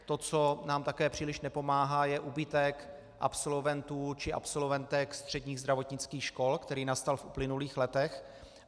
To, co nám také příliš nepomáhá, je úbytek absolventů či absolventek středních zdravotnických škol, který nastal v uplynulých letech.